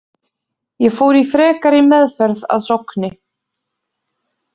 Ég fór í frekari meðferð að Sogni.